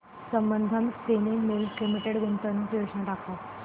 Sambandam spinning mills limited गुंतवणूक योजना दाखव